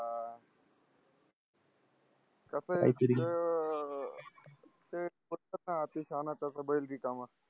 कस जे अति शहाणा त्याचं बैल रिकामा